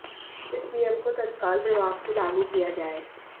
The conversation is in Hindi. इस नियम को तत्काल प्रभाव से लागू किया जाए